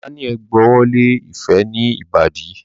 Daniel gb'ọwọ Lẹ ifẹ ní Ìbàdí.